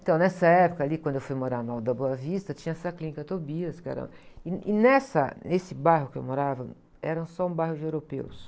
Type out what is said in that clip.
Então, nessa época ali, quando eu fui morar no Alto da Boa Vista, tinha essa clínica Tobias, que era, e, e nessa, nesse bairro que eu morava, era só um bairro de europeus.